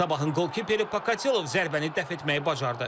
Sabahın qapıçısı Pokatilov zərbəni dəf etməyi bacardı.